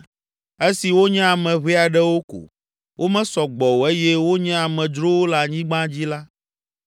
Esi wonye ame ʋɛ aɖewo ko, Womesɔ gbɔ o eye wonye amedzrowo le anyigba dzi la,